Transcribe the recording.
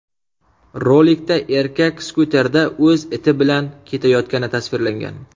Rolikda erkak skuterda o‘z iti bilan ketayotgani tasvirlangan.